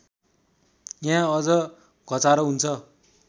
यहाँ अझ घचारो हुन्छ